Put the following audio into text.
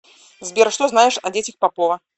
сбер что знаешь о детях попова